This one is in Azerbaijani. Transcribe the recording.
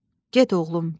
Get, oğlum, dedi.